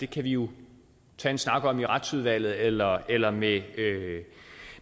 kan vi jo tage en snak om i retsudvalget eller eller med